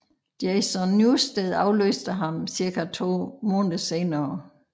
Jason Newsted afløste ham cirka to måneder senere